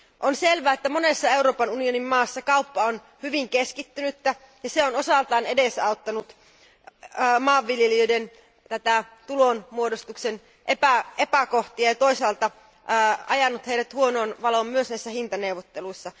On selvää, että monessa Euroopan unionin maassa kauppa on hyvin keskittynyttä ja se on osaltaan edesauttanut maanviljelijöiden tulonmuodostuksen epäkohtia ja toisaalta ajanut heidät huonoon valoon myös näissä hintaneuvotteluissa.